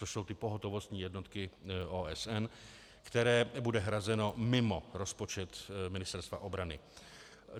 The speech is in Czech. To jsou ty pohotovostní jednotky OSN, které bude hrazeno mimo rozpočet Ministerstva obrany.